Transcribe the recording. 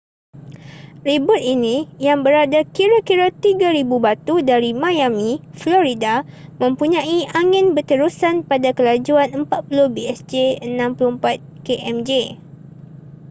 ribut ini yang berada kira-kira 3,000 batu dari miami florida mempunyai angin berterusan pada kelajuan 40 bsj 64 kmj